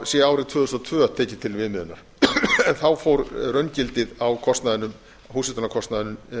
sé árið tvö þúsund og tvö tekið til viðmiðunar en þá fór raungildið á kostnaðinum húshitunarkostnaðurinn